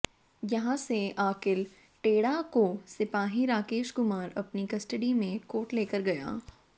यहां से आकिल टेड़ा को सिपाही राकेश कुमार अपनी कस्टडी में कोर्ट लेकर गया